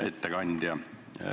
Hea ettekandja!